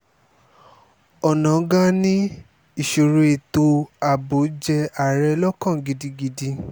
onáńgá ni ìṣòro ètò ààbò jẹ́ ààrẹ lọ́kàn gidigidi